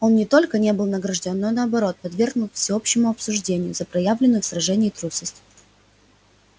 он не только не был награждён но наоборот подвергнут всеобщему осуждению за проявленную в сражении трусость